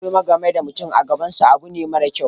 Yin gulma game da mutum a gaban sa abu ne mara kyau.